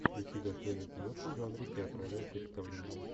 включи достойную киношку в жанре театральное представление